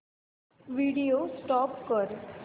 video stop कर